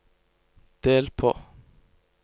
del på